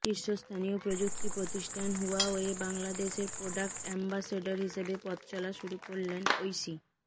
শীর্ষস্থানীয় প্রযুক্তি প্রতিষ্ঠান হুয়াওয়ে বাংলাদেশের প্রোডাক্ট অ্যাম্বাসেডর হিসেবে পথচলা শুরু করলেন ঐশী